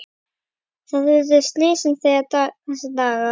Þar urðu slysin þessa daga.